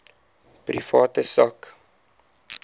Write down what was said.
private sak